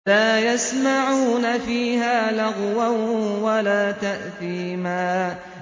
لَا يَسْمَعُونَ فِيهَا لَغْوًا وَلَا تَأْثِيمًا